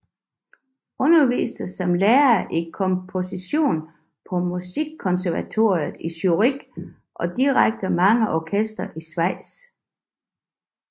Underviste som lærer i komposition på Musikkonservatoriet i Zürich og dirigerede mange orkestre i Schweiz